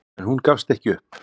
En hún gafst ekki upp.